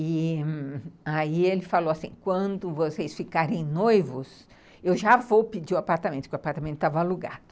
E aí ele falou assim, quando vocês ficarem noivos, eu já vou pedir o apartamento, porque o apartamento estava alugado.